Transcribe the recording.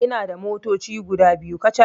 Ina da motoci guda biyu kacal